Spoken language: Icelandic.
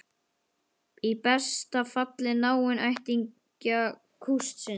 Í besta falli náinn ættingja kústsins.